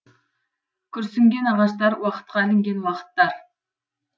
күрсінген ағаштар уақытқа ілінген уақыттар